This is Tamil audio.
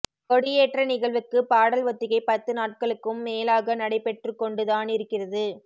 கொடி ஏற்ற நிகழ்வுக்கு ப்பாடல் ஒத்திகை பத்து நாட்களாக்கும் மேலாக நடைபெற்றுக்கொண்டுதானிருக்கிறது